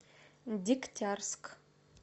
дегтярск